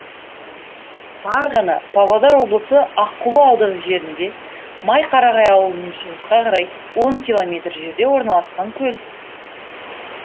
барғана павлодар облысы аққулы ауданы жерінде майқарағай ауылынан шығысқа қарай он километр жерде орналасқан көл